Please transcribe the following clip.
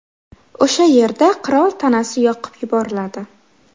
O‘sha yerda qirol tanasi yoqib yuboriladi.